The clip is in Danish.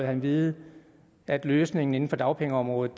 han vide at løsningen inden for dagpengeområdet